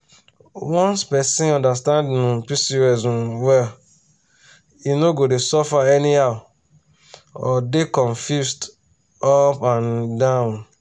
once person understand um pcos um well e no go dey suffer anyhow or dey confused up and um down.